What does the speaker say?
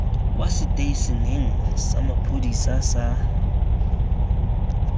kwa seteišeneng sa maphodisa sa